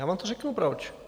Já vám to řeknu, proč.